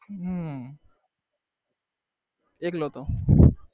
હમ એટલે તો